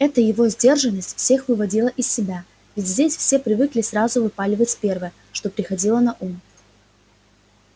эта его сдержанность всех выводила из себя ведь здесь все привыкли сразу выпаливать первое что приходило на ум